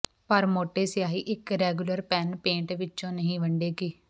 ਪਰ ਮੋਟੇ ਸਿਆਹੀ ਇਕ ਰੈਗੂਲਰ ਪੈਨ ਪੇਟ ਵਿਚੋਂ ਨਹੀਂ ਵੰਡੇਗੀ